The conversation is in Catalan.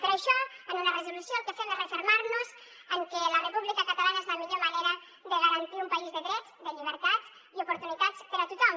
per això en una resolució el que fem és refermar nos en que la república catalana és la millor manera de garantir un país de drets de llibertats i oportunitats per a tothom